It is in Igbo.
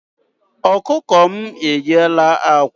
Ọkụkọ m e yiela ákwà.